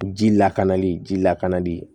Ji lakanali ji lakanali